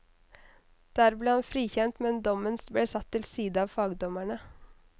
Der ble han frikjent, men dommen ble satt til side av fagdommerne.